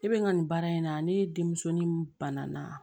Ne bɛ n ka nin baara in na ne denmuso ni bana na